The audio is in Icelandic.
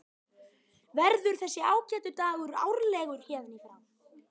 Verður þessi ágæti dagur árlegur héðan í frá?